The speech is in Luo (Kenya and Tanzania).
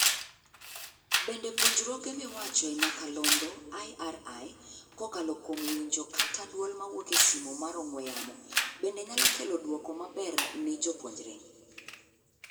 Bende puojruoge miwacho e nyakalondo (IRI) - kokalo kuom winjo kata duol mawuok e simo mar ong'ew yamo, bende nyalo kelo dwoko maber ni jopuonjre?